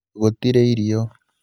gũtirĩ irio